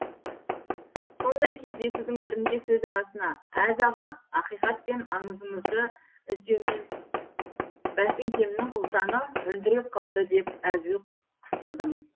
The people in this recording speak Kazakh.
сондай кездесудің бірінде сөз арасына әз аға ақиқат пен аңызыңызды іздеумен бәтіңкемнің ұлтаны үлдіреп қалды деп әзіл қыстырдым